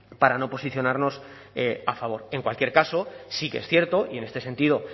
para no posicionarnos a favor en cualquier caso sí que es cierto y en este sentido